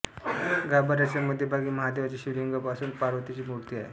गाभाऱ्याच्या मध्यभागी महादेवाचे शिवलिंग असून पार्वतीची मूर्ती आहे